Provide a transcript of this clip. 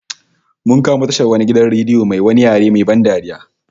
Mun kamo tashar wani gidan radio mai wani yare main ban dariya